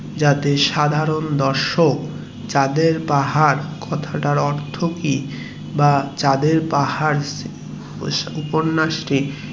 যাতে সাধারণ দর্শক চাঁদের পাহাড় বা এর অর্থ কি বা উপন্যাস টির